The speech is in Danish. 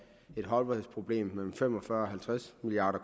et holdbarhedsproblem på mellem fem og fyrre og halvtreds milliard